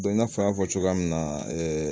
i n'a fɔ an y'a fɔ cogoya min na